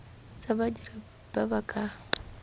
tsa badiri ba ba ka